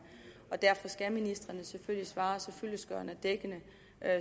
og ministrene skal selvfølgelig svare så fyldestgørende og dækkende